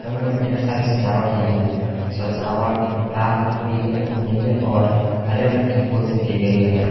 Room में ढेर सारी सजावट की है सजावट लाल पीले और नीले और हरे रंग के फूल से की गई है।